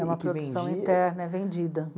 É uma produção interna, é vendida.